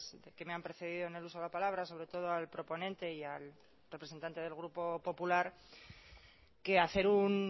que me ha precedido en el uso de la palabra sobre todo al proponente y al representante del grupo popular que hacer un